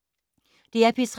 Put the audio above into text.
DR P3